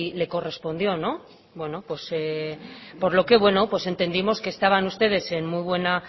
le correspondió por lo que entendimos que estaban ustedes en muy buena